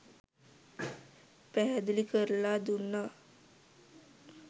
පැහැදිලි කරලා දුන්නා.